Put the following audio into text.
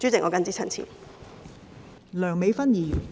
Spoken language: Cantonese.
我謹此陳辭。